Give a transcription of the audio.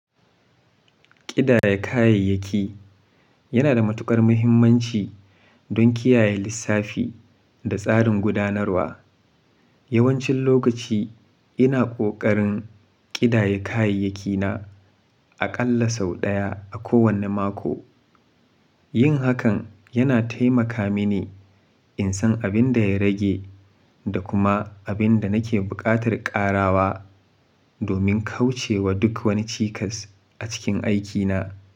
Ƙidaya kayayyaki yana da matuƙar mahimmanci don kiyaye lissafi da tsarin gudanarwa. Yawancin lokaci ina ƙoƙarin ƙidaya kayayyakina aƙalla sau ɗaya a kowane mako. Yin hakan yana taimaka mini in san abin da ya rage da kuma abin da nake buƙatar ƙarawa domin kauce wa duk wani cikas a cikin aikina.